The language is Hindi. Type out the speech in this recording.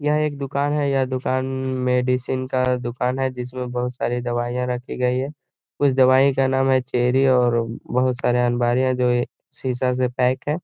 यह एक दूकान है। यह दूकान मेडिसिन का दूकान है जिसमे बोहोत सारे दवाईया रखी गयी हैं। कुछ दवाई का नाम है चेरी और बोहोत बहु सारे अलमारियाँ जो ये शीशा से पैक हैं।